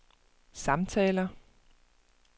samtaler